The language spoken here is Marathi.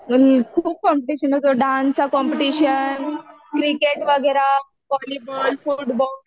खूप कॉम्पिटिशन होतो डान्सचा कॉम्पिटिशन, क्रिकेट वगैरा, व्हॉलीबॉल फुटबॉल